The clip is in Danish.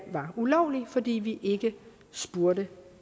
ulovlig fordi vi ikke spurgte